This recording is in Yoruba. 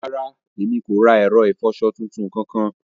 Ràrà, emi kò ra ẹrọ ifọṣọ̀ tuntun kankan.